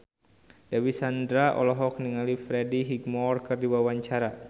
Dewi Sandra olohok ningali Freddie Highmore keur diwawancara